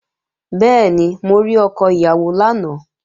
Bẹ́ẹ̀ni, mo rí ọkọ ìyàwó lánàá